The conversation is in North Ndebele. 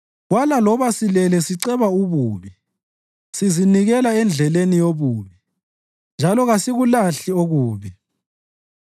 Kwala loba silele siceba ububi; sizinikela endleleni yobubi njalo kasikulahli okubi.